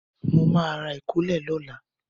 Mo ma ra ìkólẹ̀ lọ́la.